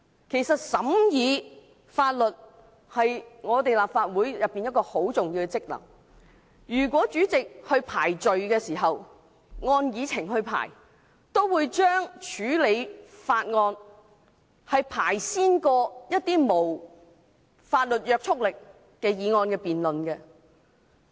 其實，審議法案是立法會的重要職能，如果主席依照會議議程來處理事項，也會先行處理法案，然後才處理一些無法律約束力的議案。